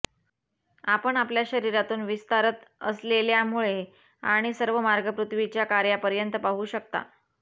आपण आपल्या शरीरातून विस्तारत असलेल्या मुळे आणि सर्व मार्ग पृथ्वीच्या कोर्यापर्यंत पाहू शकता